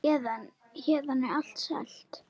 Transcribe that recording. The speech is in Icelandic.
Héðan er allt selt.